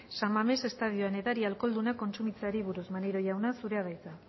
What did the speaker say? san mames estadioan edari alkoholdunak kontsumitzeari buruz maneiro jauna zurea da hitza